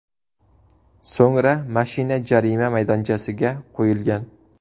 So‘ngra mashina jarima maydonchasiga qo‘yilgan.